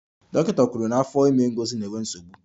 Dọkịta kwuru na afọ ime Ngozi na-enwe nsogbu